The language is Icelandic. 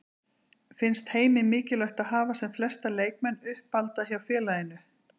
Finnst Heimi mikilvægt að hafa sem flesta leikmenn uppalda hjá félaginu?